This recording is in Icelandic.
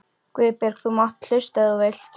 Guðbjörg þú mátt hlusta ef þú vilt.